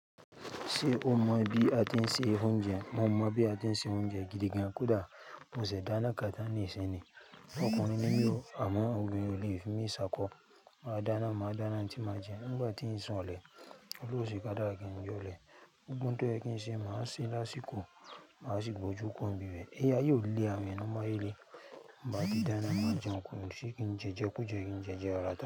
Ṣé o mọ̀ bí a ti ń se oúnjẹ? Mo mọ̀ bí a ti ń se oúnjẹ gidi gan kódà. Mo sì dáná kán tàn ni ìsìn ni. Ọkùnrin ní mi o, àmọ́ obìnrin ó lè fi mi ṣá kọ́. Máa dáná, má dáná oun tí mà jẹ. Nígbà tí ń sanlẹ̀, oluwe ó sì ká dárá kí n jó lẹ̀. Gbogbo ohun tó jẹ́ kí n ṣe, màá ṣe lásìkò. Màá sì gbójú kuro ń bi bẹ̀. Ilé ayé olé awọn èèyàn ló mú ayé lè bá ti dáná, má jẹun kù. Kí n jẹjẹkú, jẹ́ kí n jẹjẹ rata.